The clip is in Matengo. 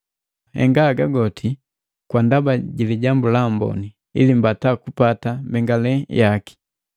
Henga haga goti kwa ndaba ji Lijambu la Amboni, ili mbata kupata mbengalelu yaki.